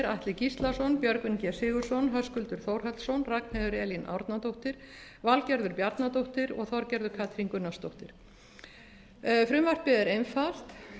atli gíslason björgvin g sigurðsson höskuldur þórhallsson ragnheiður e árnadóttir valgerður bjarnadóttir og þorgerður k gunnarsdóttir frumvarpið er einfalt